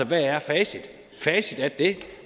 hvad er facit facit er det